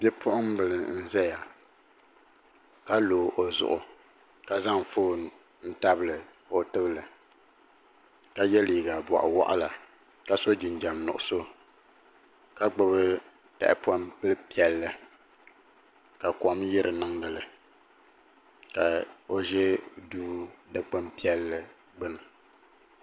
Bipuɣimbila n zaya ka lo o zuɣu ka zaŋ fooni n tabili o tibili ka ye liiga boɣawaɣala ka so jinjiɛm nuɣuso ka gbibi tahapoŋ bila piɛlli ka kom yiri niŋdili ka o ʒɛ duu dikpin piɛlli gbini.